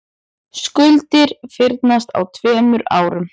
Skuldir fyrnist á tveimur árum